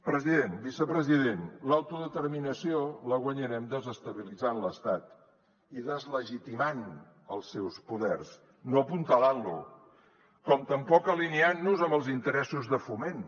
president vicepresident l’autodeterminació la guanyarem desestabilitzant l’estat i deslegitimant els seus poders no apuntalant lo com tampoc alineant nos amb els interessos de foment